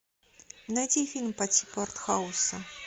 найти фильм по типу артхауса